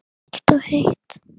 Kalt og heitt.